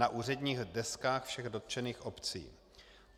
, na úředních deskách všech dotčených obcí.